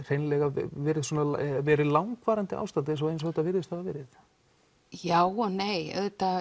verið svona langvarandi ástand eins og eins og þetta virðist hafa verið já og nei